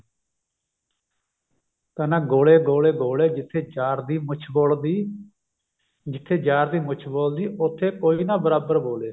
ਕਹਿੰਦਾ ਗੋਲੇ ਗੋਲੇ ਗੋਲੇ ਜਿੱਥੇ ਯਾਰ ਦੀ ਮੁੱਛ ਬੋਲ ਦੀ ਜਿੱਥੇ ਯਾਰ ਦੀ ਮੁੱਛ ਬੋਲ ਦੀ ਉੱਥੇ ਕੋਈ ਨਾ ਬਰਾਬਰ ਬੋਲੇ